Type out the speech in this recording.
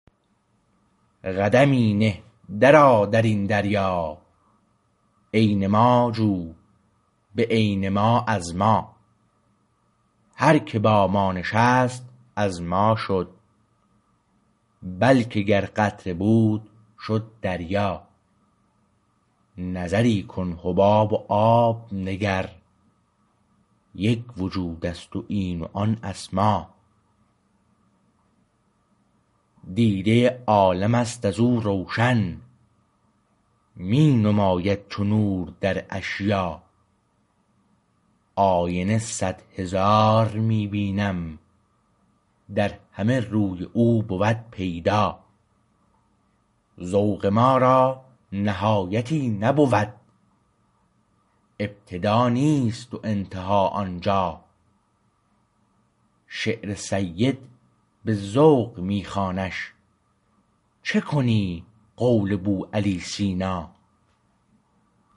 قدمی نه در آ در این دریا عین ما جو به عین ما از ما هر که با ما نشست از ما شد بلکه گر قطره بود شد دریا نظری کن حباب و آب نگر یک وجود است این و آن اسما دیده عالم است از او روشن می نماید چو نور در اشیا آینه صد هزار می بینم در همه روی او بود پیدا ذوق ما را نهایتی نبود ابتدا نیست و انتها آنجا شعر سید به ذوق می خوانش چه کنی قول بوعلی سینا